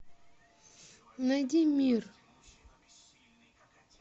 найди мир